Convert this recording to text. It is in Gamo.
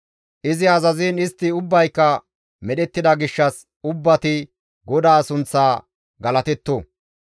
Izi azaziin istti ubbayka medhettida gishshas ubbati GODAA sunththaa galatetto!